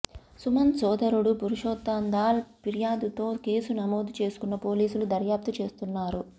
సమాంత్ సోదరుడు పురుషోత్తందాల్ ఫిర్యాదుతో కేసు నమోదు చేసుకున్న పోలీసులు దర్యాప్తు చేస్తున్నారు